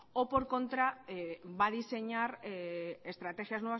o por contra si va a diseñar estrategias